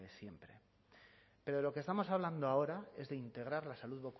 desde siempre pero de lo que estamos hablando ahora es de integrar la salud